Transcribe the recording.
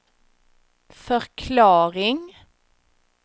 förklaring